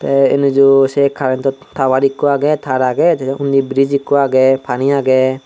te enuju se karento tawar ikko agey tar agey jene unni brij ikko agey pani agey.